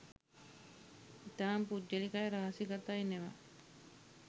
ඉතාම පුද්ගලිකයි රහසිගතයි නෙව